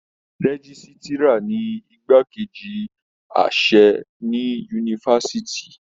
Rẹ̀jisitira ní ìgbà keji àṣẹ ní yunifásítì.